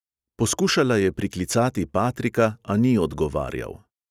Poskušala je priklicati patrika, a ni odgovarjal.